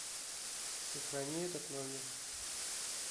сохрани этот номер